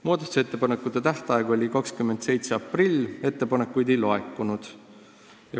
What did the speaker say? Muudatusettepanekute esitamise tähtaeg oli 27. aprillil, ettepanekuid ei laekunud.